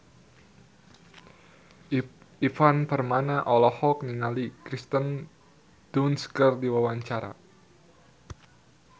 Ivan Permana olohok ningali Kirsten Dunst keur diwawancara